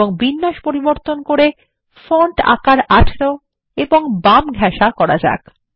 এবং বিন্যাস পরিবর্তন করে ফন্ট আকার ১৮ এবং বাম ঘেঁসা করা যাক